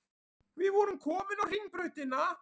Við vorum komin á Hringbrautina.